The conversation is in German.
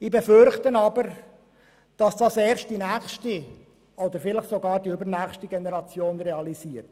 Ich befürchte aber, dass dies erst die nächste oder übernächste Generation realisiert.